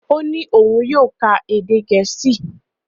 Ó ní òun yóò ká èdè Gẹ̀ẹ́sì